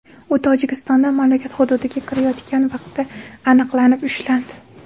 U Tojikistondan mamlakat hududiga kirayotgan vaqtda aniqlanib, ushlandi.